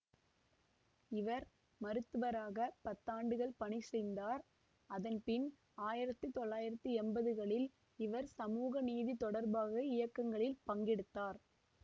இவர் மருத்துவராக பத்தாண்டுகள் பணி செய்ந்தார் அதன் பின் ஆயிரத்தி தொள்ளாயிரத்தி எம்பதுகளில் இவர் சமூக நீதி தொடர்பாக இயக்கங்களில் பங்கெடுத்தார்